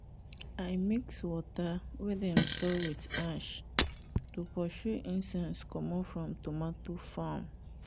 i mix water wey dem store with ash to pursue insects komot from tomato farm.